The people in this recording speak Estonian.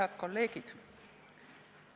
Head kolleegid!